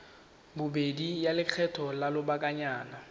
bobedi ya lekgetho la lobakanyana